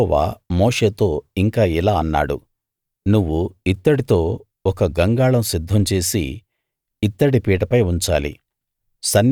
యెహోవా మోషేతో ఇంకా ఇలా అన్నాడు నువ్వు ఇత్తడితో ఒక గంగాళం సిద్ధం చేసి ఇత్తడి పీటపై ఉంచాలి